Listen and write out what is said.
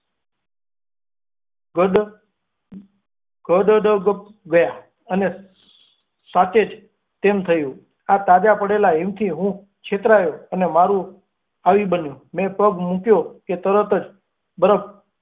ગસબ ગડડપ ગયા અને સાચે જ તેમ થયું. આ તાજા પડેલા હિમથી કે છેતરાયો અને મારું આવી બન્યું, મેં પગ મૂક્યો કે તરત જ બરફ.